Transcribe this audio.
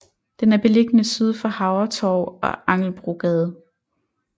Den er beliggende syd for Havretorv og Angelbogade